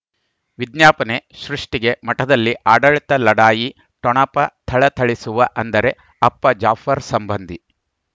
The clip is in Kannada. ವಿಜ್ಞಾಪನೆ ಸೃಷ್ಟಿಗೆ ಮಠದಲ್ಲಿ ಆಡಳಿತ ಲಢಾಯಿ ಠೊಣಪ ಥಳಥಳಿಸುವ ಅಂದರೆ ಅಪ್ಪ ಜಾಫರ್ ಸಂಬಂಧಿ